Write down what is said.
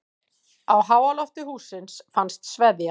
Á háalofti hússins fannst sveðja.